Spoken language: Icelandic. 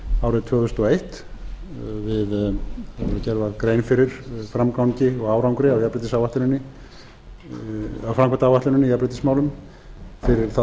árið tvö þúsund og eitt þegar gerð var grein fyrir framgangi og árangri af framkvæmdaáætluninni í jafnréttismálum fyrir það tímabil þá